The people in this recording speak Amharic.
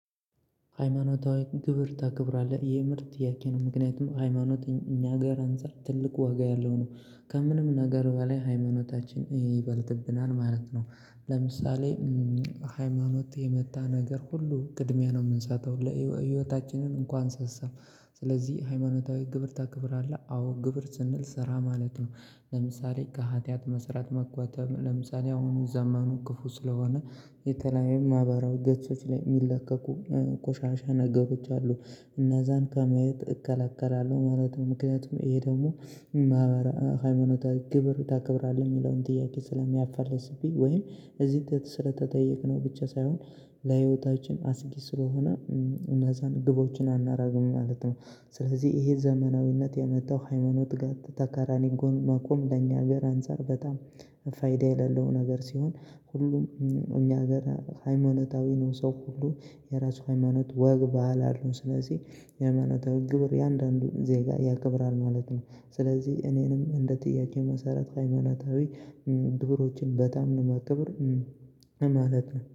ሃይማኖታዊ ግብር ታክብራለህ? የሚል ጥያቄ ነው ምክንያቱም ሃይማኖት እኛ ጋር አንፃር ትልቅ ዋጋ ያለው ነው። ከምንም ነገር በላይ ሃይማኖታችን ይበልጥብናል ማለት ነው። ለምሳሌ ሃይማኖት የመጣ ነገር ሁሉ ቅድሚያ ነው የምንሰጠው። ለህይወታችንን እንኳን አንሳሳም። ስለዚህ ሃይማኖታዊ ግብር ታክብራለህ አዎ ግብር ስንል ስራ ማለት ነው። ለምሳሌ ከሃጥያት መስራት መቆጠብ። ለምሳሌ አሁን ዘመኑ ክፉ ስለሆነ የተለያየ ማህበራዊ ገጾች ላይ የሚለቀቁ ቆሻሻ ነገሮች አሉ። እና ዛን ከመያየት እከለከላለሁ ማለት ነው ምክንያቱም ይሄ ደግሞ ማህበራ ሃይማኖታዊ ግብር ታከብራለህ የሚለውን ጥያቄ ስለሚያፋልስብኝ ወይም እዚህ ስለተጠየቅነው ብቻ ሳይሆን ለህይወታችን አስጊ ስለሆነ እነዛን ግቦችን አናረግም ማለት ነው። ስለዚህ ይሄ ዘመናዊነት የመጣው ሃይማኖት ጋር ተቃራኒ ጎን መቆም ለኛ ሀገር አንፃር በጣም ፋይዳ የሌለው ነገር ሲሆን ሁሉም እኛ ሀገር ሃይማኖታዊ ነው። ሰው ሁሉ የራሱ ሃይማኖት ወግ ባህል አሉን ስለዚህ የሃይማኖት ግብር የአንዳንዱን ዜጋ ያክብራል ማለት ነው። ስለዚህ እኔንም እንደ ጥያቄ መሰረት ሃይማናታዊ ግብሮችን በጣም ነው የማከብር ማለት ነው።